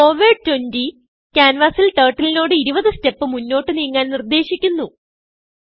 forward 20 ക്യാൻവാസിൽ Turtleനോട് 20 step മുന്നോട്ട് നീങ്ങാൻ നിർദേശിക്കുന്നു